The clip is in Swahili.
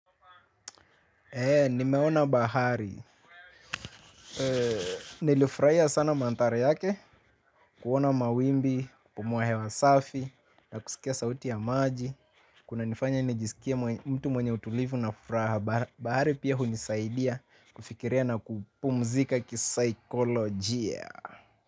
Nimeona bahari. Nilifurahia sana manthari yake. Kuona mawimbi, kupumua hewa safi, na kusikia sauti ya maji kunanifanya nijisikie mtu mwenye utulivu na furaha. Bahari pia hunisaidia kufikiria na kupumzika kisaikolojia.